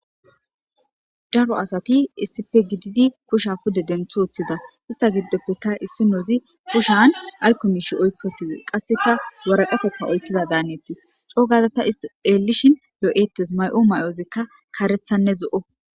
daro asati issippe gididi kusha pude denthothida ista giddoppekka issinozi kushan aykkomishi oykkotize qasseka waraqatepka oykkida daanettis coogaza ta isti eelishin lo'eettes mayo mayozikka kaarethanne zo'o